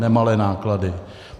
Nemalé náklady.